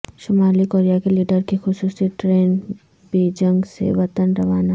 شمالی کوریا کے لیڈر کی خصوصی ٹرین بیجنگ سے وطن روانہ